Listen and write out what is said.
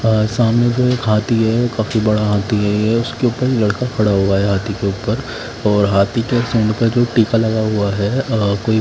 और सामने जो एक हाथी है काफी बड़ा हाथी है उसके उपर एक लकड़ा खड़ा हुआ है हाथी के उपर और हठी के सुन्ड पे जो ठीके लगा हुआ है कोई --